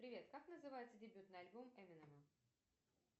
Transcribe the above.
привет как называется дебютный альбом эминема